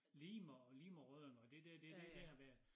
Lihme og Lihme og Rødding og det dér det den dér med